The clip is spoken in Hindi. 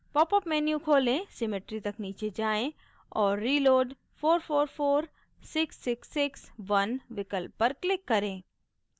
popअप menu खोलें symmetry तक नीचे जाएँ और reload {444 666 1} विकल्प पर click करें